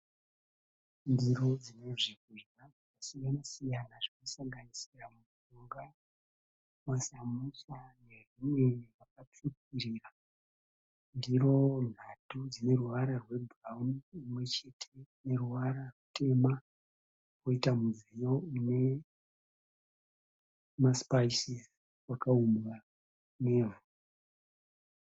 Ndiro dzine zvinhu zvakasiyana siyana zvinosanganisira mupunga masamusa nezvimwe zvakatsvukirira ndiro nhatu dzine ruvara rwebhurawuni imwe chete ine ruvara rutema poita mudziyo une masipayisi wakaumbwa nevhu.